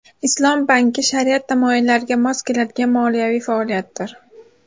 Islom banki shariat tamoyillariga mos keladigan moliyaviy faoliyatdir.